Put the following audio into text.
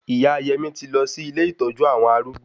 Ìyá Yẹmí ti lọ sí ilé ìtọ́jú àwọn arúgbó